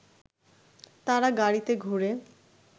তারা গাড়িতে ঘুরে